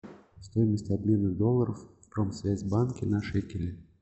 стоимость обмена долларов в промсвязьбанке на шекели